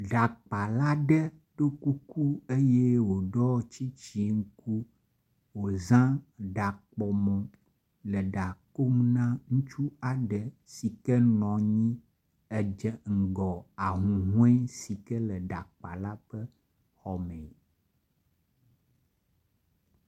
Ɖakpala ɖe ɖo kuku eye woɖɔ tsitsiŋku. Woza ɖakpɔmɔ le ɖa kom na ŋutsu aɖe nɔ anyi edze ŋgɔ ahuhɔe si ke le ɖakpala ƒe xɔ me.